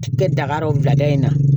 Kɛ dakari o bila da in na